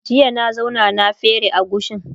jiya na zauna na fere agushin